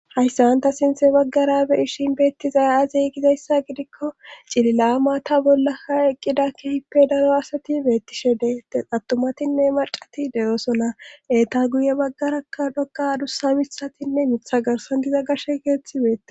hayssan ta sinthe baggara be ishin beettizaya aziy gizayssa gidikko cililaama ta bolla ha eqqida kehippe daro asati beettishe deettes attumatinne macati de7osola eeta guye baggarakka dhoqa dussa misatinne mitha garsan diza gashe keeththi beetes